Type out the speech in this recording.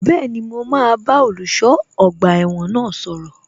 Bẹ́ẹ̀ni, mo máa bá olùṣọ́ ọgbà ẹ̀wọ̀n náà sọ̀rọ̀